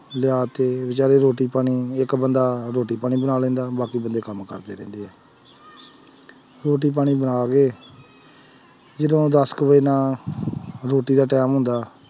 ਲਿਆ ਤੇ ਬੇਚਾਰੇ ਰੋਟੀ ਪਾਣੀ, ਇੱਕ ਬੰਦਾ ਰੋਟੀ ਪਾਣੀ ਬਣਾ ਲੈਂਦਾ ਬਾਕੀ, ਬੰਦੇ ਕੰਮ ਕਰਦੇ ਰਹਿੰਦੇ ਹੈ ਰੋਟੀ ਪਾਣੀ ਬਣਾ ਕੇ ਜਦੋਂ ਦਸ ਕੁ ਵਜੇ ਦਾ ਰੋਟੀ ਦਾ time ਹੁੰਦਾ